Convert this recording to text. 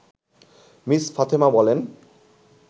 miss Fatema বলেন